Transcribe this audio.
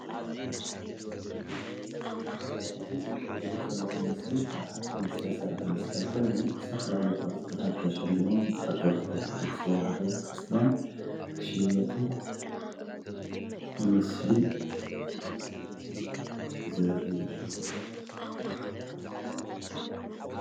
እዚ እትርእዎ ዘለኩም ምስሊ ካብ ሓፂን ዝተሰረሓ መስቀል ኮይኑ ዝተፈላለዩ ቅርፅታት ተሸሊሞም ንተከተልቲ ኦርቶዶክስ ተዋህዶ ክርስትያን ክሽየጡ ዘርኢ ምስሊ እዮ።